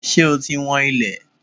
Ṣé o ti wọn ilẹ̀?